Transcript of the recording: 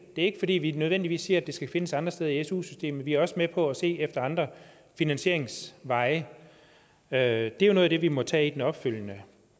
er ikke fordi vi nødvendigvis siger at det skal findes andre steder i su systemet vi er også med på at se efter andre finansieringsveje det er jo noget af det vi må tage i den opfølgende